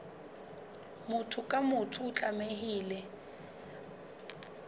motho ka mong o tlamehile